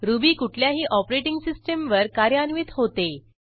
ruby कुठल्याही operating सिस्टीमवर कार्यान्वित होते